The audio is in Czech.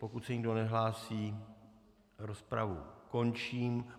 Pokud se nikdo nehlásí, rozpravu končím.